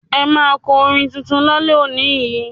Ẹ máa kọ́ orin tuntun lálẹ́ yìí.